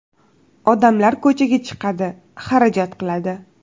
Odamlar ko‘chaga chiqadi, xarajat qiladi.